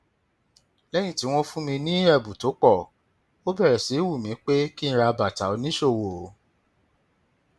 lẹyìn tí wọn fún mi ní ẹbùn tó pọ ó bẹrẹ sí í wù mí pé kí n ra bàtà oníṣòwò